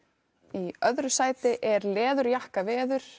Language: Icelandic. í öðru sæti er